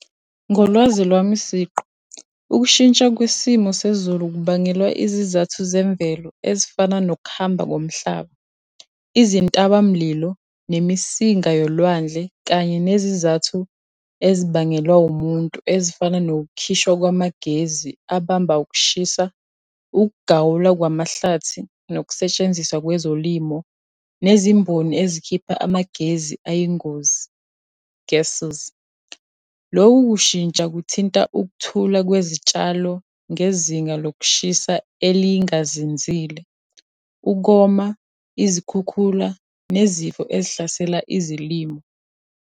Ngolwazi lwami siqu, ukushintsha kwesimo sezulu kubangelwa izizathu zemvelo ezifana nokuhamba komhlaba, izintabamlilo, nemisinga yolwandle, kanye nezizathu ezibangelwa umuntu ezifana nokukhishwa kwamagezi abamba ukushisa, ukugawulwa kwamahlathi nokusetshenziswa kwezolimo, nezimboni ezikhipha amagezi ayingozi, gases. Loku kushintsha kuthinta ukuthula kwezitshalo ngezinga lokushisa elingazinzile, ukoma, izikhukhula, nezifo ezihlasela izilimo.